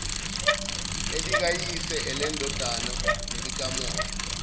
elikayise elendodana nelikamoya